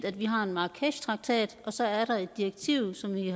at vi har en marrakeshtraktat og så er der et direktiv som vi